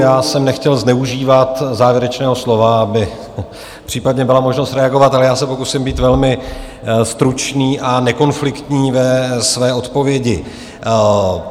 Já jsem nechtěl zneužívat závěrečného slova, aby případně byla možnost reagovat, ale já se pokusím být velmi stručný a nekonfliktní ve své odpovědi.